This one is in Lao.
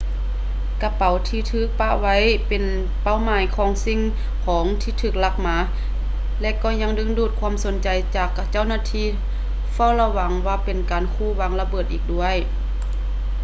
ກະເປົາທີ່ຖືກປະໄວ້ ເປັນເປົ້າໝາຍຂອງສິ່ງຂອງທີ່ຖືກລັກມາ ແລະ ກໍຍັງດຶງດູດຄວາມສົນໃຈຈາກເຈົ້າໜ້າທີ່ເຝົ້າລະວັງວ່າເປັນການຂູ່ວາງລະເບີດອີກດ້ວຍ